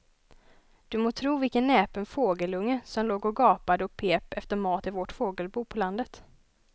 Du må tro vilken näpen fågelunge som låg och gapade och pep efter mat i vårt fågelbo på landet.